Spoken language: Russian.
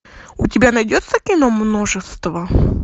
у тебя найдется кино множество